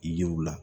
Yiriw la